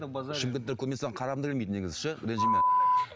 шымкенттер көрмесе қарағым да келмейді негізі ше ренжіме